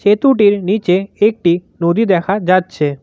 এতুডের নীচে একটি নদী দেখা যাচ্ছে।